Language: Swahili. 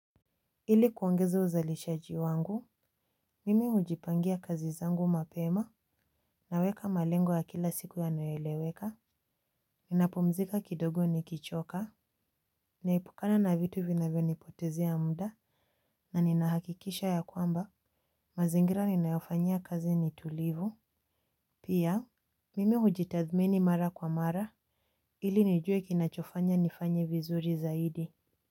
Ili kuongeza uzalishaji wangu, mimi hujipangia kazi zangu mapema. Naweka malengo ya kila siku yanayoeleweka. Ninapumzika kidogo nikichoka, naepukana na vitu vinavyonipotezea muda. Na ninahakikisha ya kwamba mazingira ninayofanyia kazi ni tulivu. Pia mimi hujitathmini mara kwa mara. Ili nijue kinachofanya nifanye vizuri zaidi.